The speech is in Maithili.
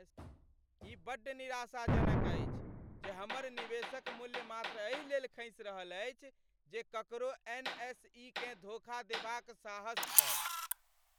ई बड्ड निराशाजनक अछि जे हमर निवेशक मूल्य मात्र एहि लेल खसि रहल अछि जे ककरो एनएसई केँ धोखा देबाक साहस छल।